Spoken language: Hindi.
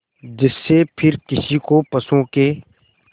जिससे फिर किसी को पशुओं के